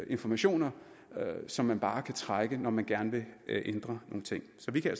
informationer som man bare kan trække på når man gerne vil ændre nogle ting så vi kan